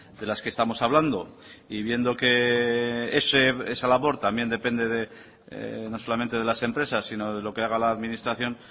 de las que estamos hablando y viendo que esa labor también depende de no solamente de las empresas sino de lo que haga la administración